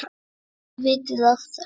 Þið vitið af þessu?